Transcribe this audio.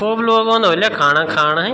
खूब लोग ओंदा ह्वल यख खाणा खाण है।